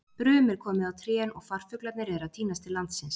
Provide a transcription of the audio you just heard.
Brum er komið á trén og farfuglarnir eru að tínast til landsins.